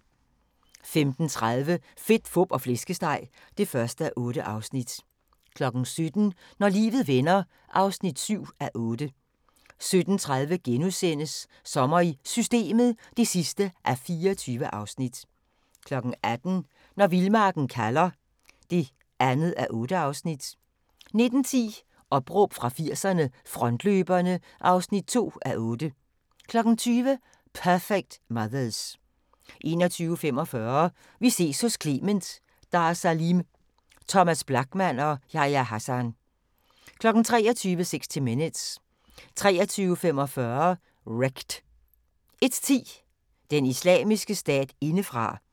15:30: Fedt, fup og flæskesteg (1:8) 17:00: Når livet vender (7:8) 17:30: Sommer i Systemet (24:24)* 18:00: Når vildmarken kalder (2:8) 19:10: Opråb fra 80'erne – Frontløberne (2:8) 20:00: Perfect Mothers 21:45: Vi ses hos Clement: Dar Salim, Thomas Blachman og Yahya Hassan 23:00: 60 Minutes 23:45: Wrecked 01:10: Den islamiske stat indefra